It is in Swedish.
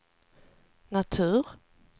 natur